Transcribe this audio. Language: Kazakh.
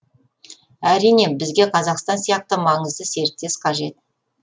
әрине бізге қазақстан сияқты маңызды серіктес қажет